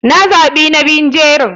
Na za bi na biyu jerin.